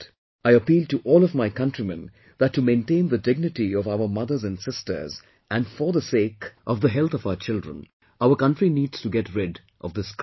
I appeal to all of my countrymen that to maintain the dignity of our mothers and sisters and for the sake of health of our children, our country needs to get rid of this scourge